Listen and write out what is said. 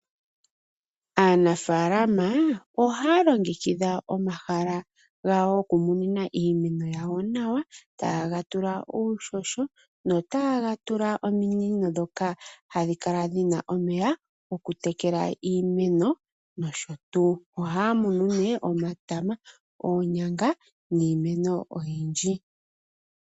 Aanafaalama ohaya longekidha omahala gawo goku munina iinima yawo nawa, ta ye ga tula uuhoho ,nota ye ga tula ominino ndhoka ha dhi kala dhi na omeya go kutekela iimeno nosho tuu. Ohaya munu nee omatama, oonyanga niimeno oyindji.